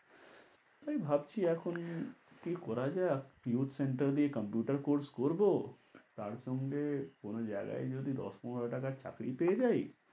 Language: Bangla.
তাই ভাবছি এখন কি করা যায় youth centre দিয়ে computer course করবো, তার সঙ্গে কোন জায়গায় যদি দশ পনের টাকার চাকরি পেয়ে যাই।